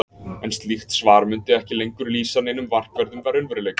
En slíkt svar mundi ekki lengur lýsa neinum markverðum raunveruleika.